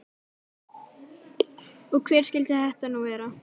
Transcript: Og hver skyldi þetta nú vera?